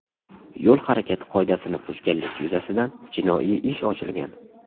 Yo‘l harakati qoidasini buzganlik yuzasidan jinoiy ish ochilgan.